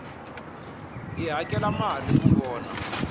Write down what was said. hi hakela mali ku vona